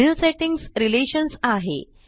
पुढील settings relations आहे